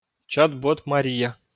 чат бот мария